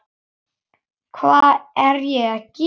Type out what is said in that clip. Hvað er ég að gera?